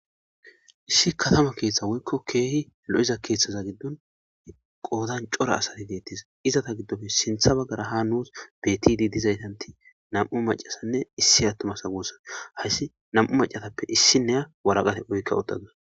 issi katama keeththa woykko keehi lo7iza keeththaza giddon qoodan cora asati deettis izata giddofe sintha baggara ha nuus betidi dizaytanti nam7u macasanne issi aattumasa guussan hayssi nam7u macatappe issinnea waraqate oykka uttadus